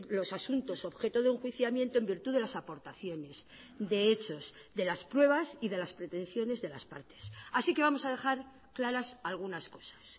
los asuntos objeto de enjuiciamiento en virtud de las aportaciones de hechos de las pruebas y de las pretensiones de las partes así que vamos a dejar claras algunas cosas